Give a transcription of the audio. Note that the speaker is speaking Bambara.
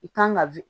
I kan ka